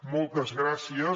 moltes gràcies